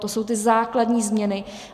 To jsou ty základní změny.